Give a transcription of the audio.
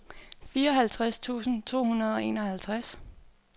fireoghalvtreds tusind to hundrede og enoghalvtreds